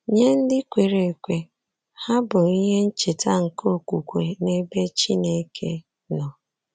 Nye ndị kwere ekwe, ha bụ ihe ncheta nke okwukwe n’ebe Chineke nọ.